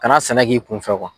Kana sɛnɛ k'i kunfɛ